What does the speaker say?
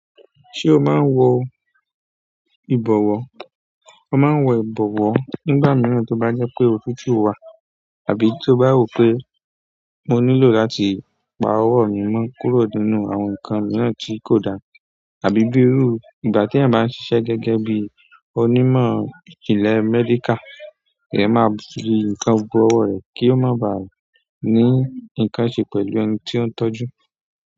Ṣé o máa ń wọ ìbọ̀wọ́? A máa ń wọ ìbọ̀wọ́ nígbà mìíràn tí ó bá jẹ́ pé òtútù wà àbí tí o bá rò pé mo nílò láti pa ọwọ́ mi mọ́ kúrò nínú àwọn nǹkan mìíràn tí kò da, àbí bíi irú ìgbà tí ẹ̀yan báa ń ṣiṣẹ́ gẹ́gẹ́ bí onímọ̀ ìjìnlẹ̀ medical, ìyẹ́ máa fi nǹkan bo ọwọ́ rẹ̀ kí ó máa ba à ní nǹkan ṣe pẹ̀lú ẹni tí ó ń tọ́jú.